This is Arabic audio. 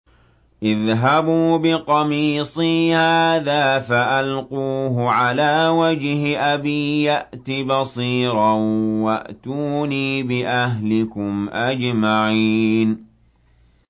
اذْهَبُوا بِقَمِيصِي هَٰذَا فَأَلْقُوهُ عَلَىٰ وَجْهِ أَبِي يَأْتِ بَصِيرًا وَأْتُونِي بِأَهْلِكُمْ أَجْمَعِينَ